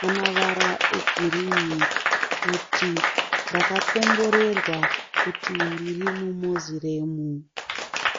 nemavara egirini kuti ndakakomborerwa kuti ndiri mumoziremu.